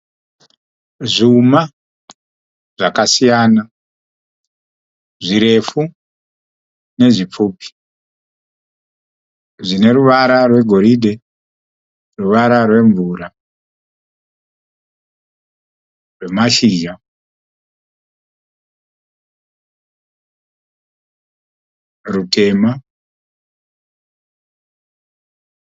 Zvuma zvakasiyana. Zvirefu nezvipfupi zvineruvara rwegoridhe, ruvara rwemvura, rwemashizha ne rutema.